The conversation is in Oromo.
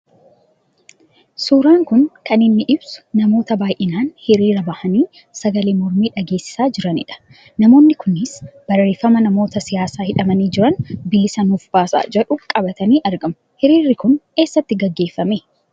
Suuraan kun kan inni ibsu namoota baayyinaan hiriira ba'anii sagalee mormii dhageessisaa jirani dha. Namoonni Kunis barreeffama namoota siyaasaa hidhamanii jiran bilisa nuuf baasaa jedhu qabatanii argamuu. Hiriirri kun eessatti geggeeffamee ?